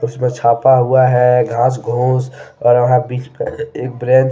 उसपे छापा हुआ है घास घूस और यह बीच में एक ब्रेंच --